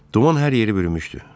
Duman hər yeri bürümüşdü.